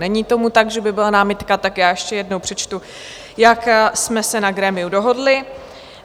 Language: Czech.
Není tomu tak, že by byla námitka, tak já ještě jednou přečtu, jak jsme se na grémiu dohodli.